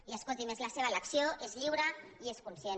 i escolti’m és la seva elecció és lliure i és conscient